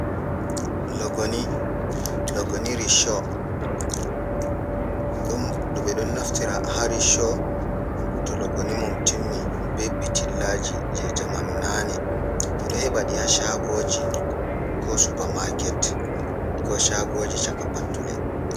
Logoni, logoniri risho, ɓe ɗon naftira haa risho, to logoni mum timmi, be pitillaaji je jamanu naane ɓe ɗon heɓa ɗi haa shaagooji, ko supamaaket, ko shaagoiji caka pattule.